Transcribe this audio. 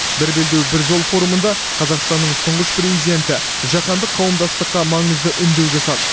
бір белдеу бір жол форумында қазақстанның тұңғыш президенті жаһандық қауымдастыққа маңызды үндеу жасады